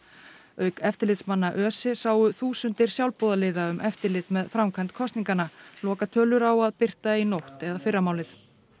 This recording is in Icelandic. auk eftirlitsmanna ÖSE sáu þúsundir sjálfboðaliða um eftirlit með framkvæmd kosninganna lokatölur á að birta í nótt eða fyrramálið